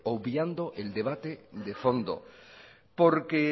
obviando el debate de fondo porque